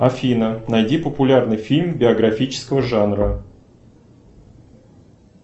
афина найди популярный фильм биографического жанра